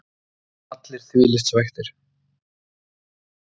Það eru allir þvílíkt svekktir.